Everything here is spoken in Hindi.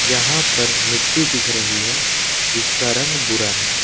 यहां पर मिट्टी दिख रही है जिसका रंग भुरा है।